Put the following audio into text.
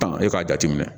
e k'a jateminɛ